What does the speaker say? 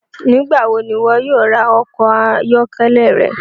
Nigbawo ni iwọ yóò ra ọkọ ayọkẹlẹ rẹ?